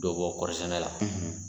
Dɔ bɛ bɔ kɔɔri sɛnɛ la.